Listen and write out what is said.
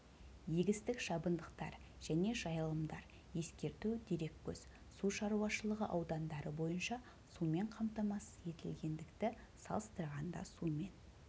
егістік шабындықтар және жайылымдар ескерту дереккөз су шаруашылығы аудандары бойынша сумен қамтамасыз етілгендікті салыстырғанда сумен